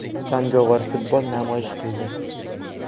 Jangovar futbol namoyish qildi.